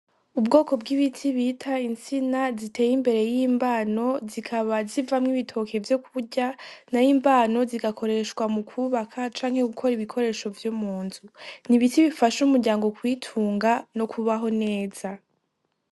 Ubwoko bw'ibiti bita intsina ziteye imbere y'imbano zikaba zivamwo ibitoke vyo kurya na yo imbano zigakoreshwa mu kubaka canke gukora ibikoresho vyo mu nzu ni ibiti bifasha umuryango kwitunga no kubaho neza.